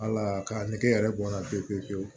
Ala k'a nege yɛrɛ bɔnna pewu pewu pewu